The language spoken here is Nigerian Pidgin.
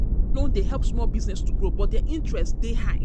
Microloan dey help small business to grow, but di interest rate dey high.